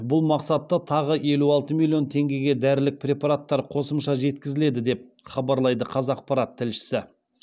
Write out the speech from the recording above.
бұл мақсатта тағы елу алты миллион теңгеге дәрілік препараттар қосымша жеткізіледі деп хабарлайды қазақпарат тілшісі